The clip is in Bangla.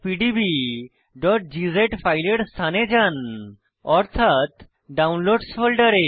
4ex1pdbগজ ফাইলের স্থানে যান অর্থাৎ ডাউনলোডসহ ফোল্ডারে